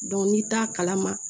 n'i t'a kalama